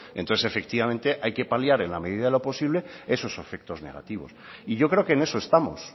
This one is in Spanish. entonces efectivamente hay que paliar en la medida de lo posible esos efectos negativos y yo creo que en eso estamos